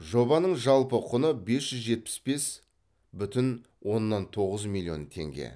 жобаның жалпы құны бес жүз жетпіс бес бүтін оннан тоғыз миллион теңге